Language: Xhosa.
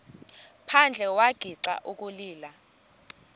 phandle wagixa ukulila